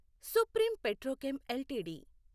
supreme Petrochem LTD